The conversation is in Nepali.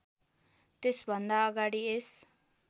त्यसभन्दा अगाडि यस